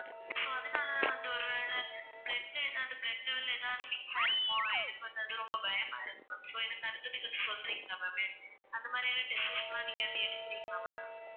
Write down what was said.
so அதனால தான் வந்து ஒரு வேலை blood ல எதாவது blood level ல எதாவது mix ஆயிருக்குமா எனக்கு வந்து அது ரொம்ப பயமாயிருக்கு so எனக்கு அதை பத்தி கொஞ்சம் சொல்றீங்களா ma'am அந்த மாதிரியான tests லாம் நீங்க எப்படி எடுக்கறீங்களா ma'am